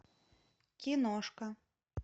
киношка